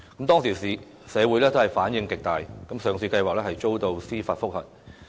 當時社會反響極大，上市計劃遭到司法覆核。